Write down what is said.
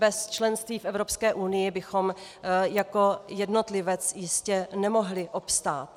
Bez členství v Evropské unii bychom jako jednotlivec jistě nemohli obstát.